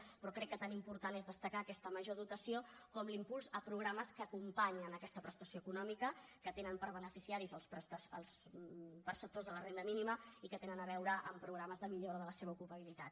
però crec que tan important és destacar aquesta major dotació com l’impuls a programes que acompanyen aquesta prestació econòmica que tenen per beneficiaris els perceptors de la renda mínima i que tenen a veure amb programes de millora de la seva ocupabilitat